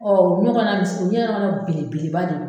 Ɔ o ɲɔgɔn bi se o ɲɔgɔn na belebeleba de